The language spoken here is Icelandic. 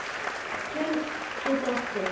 Tjörn getur átt við